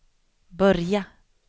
börja